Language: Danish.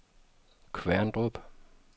Kværndrup